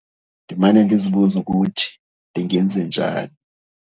Ndimane ndizibuza ukuthi ndingenze njani.